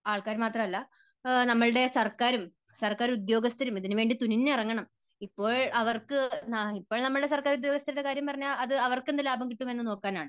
ആൾക്കാർ മാത്രമല്ല നമ്മുടെ സർക്കാരും സർക്കാർ ഉദ്യോഗസ്ഥരും ഇതിനുവേണ്ടി തുനിഞ്ഞിറങ്ങണം. ഇപ്പോൾ അവർക്ക് ഇപ്പോൾ നമ്മുടെ സർക്കാർ ഉദ്യോഗസ്ഥരുടെ കാര്യം പറഞ്ഞാൽ അത് അവർക്കെന്ത് ലാഭം കിട്ടും എന്നു നോക്കാനാണ്.